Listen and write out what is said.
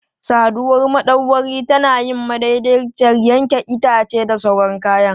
Saduwar madauwari tana yin madaidaiciyar yanke itace da sauran kayan.